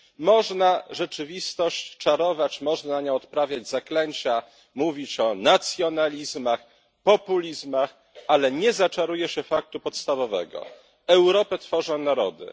Można rzeczywistość czarować, można nad nią odprawiać zaklęcia, mówić o nacjonalizmach, populizmach, ale nie zaczaruje się faktu podstawowego Europę tworzą narody.